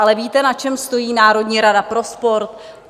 Ale víte, na čem stojí Národní rada pro sport?